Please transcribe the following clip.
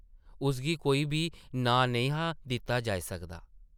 उसगी कोई बी नांऽ नेईं हा दित्ता जाई सकदा ।